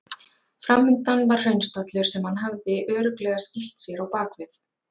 Framundan var hraunstallur sem hann hafði örugglega skýlt sér á bakvið.